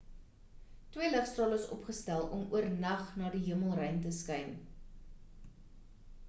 twee ligstrale is opgestel om oornag na die hemelruim te skyn